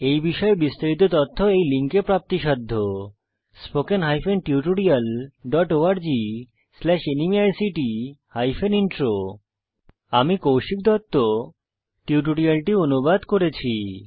এই বিষয়ে বিস্তারিত তথ্য এই লিঙ্ক এ প্রাপ্তিসাধ্য spoken hyphen tutorial dot org slash NMEICT hyphen intro আমি কৌশিক দত্ত টিউটোরিয়ালটি অনুবাদ করেছি